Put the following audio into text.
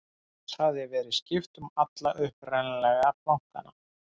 loks hafði verið skipt um alla upprunalegu plankana